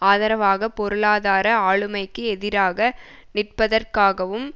ஆதரவாக பொருளாதார ஆளுமைக்கு எதிராக நிற்பதற்காகவும்